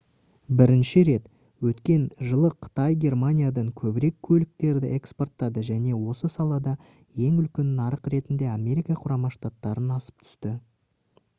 бірінші рет өткен жылы қытай германиядан көбірек көліктерді экспорттады және осы салада ең үлкен нарық ретінде америка құрама штаттарынан асып түсті